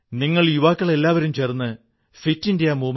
നിങ്ങളുടെസന്തോഷം എത്രയധികം വർധിക്കുന്നുവെന്ന് എന്നിട്ടു നോക്കൂ